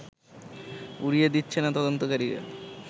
উড়িয়ে দিচ্ছে না তদন্তকারীরা